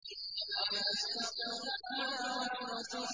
وَمَا يَسْتَوِي الْأَعْمَىٰ وَالْبَصِيرُ